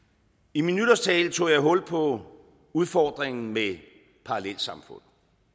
i min nytårstale tog jeg hul på udfordringen med parallelsamfund